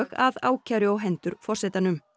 að ákæru á hendur forsetanum